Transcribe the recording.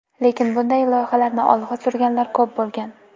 Lekin bunday loyihalarni olg‘a surganlar ko‘p bo‘lgan.